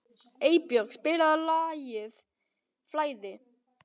Eybjörg, spilaðu lagið „Flæði“.